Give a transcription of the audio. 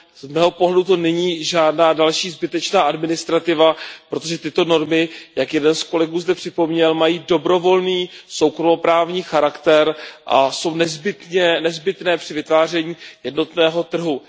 Z mého pohledu to není žádná další zbytečná administrativa, protože tyto normy, jak jeden z kolegů zde připomněl, mají dobrovolný soukromoprávní charakter a jsou nezbytné při vytváření jednotného trhu.